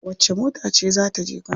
Wacce mota ce za ta je kano?